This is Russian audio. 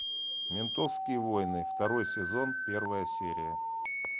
ментовские войны второй сезон первая серия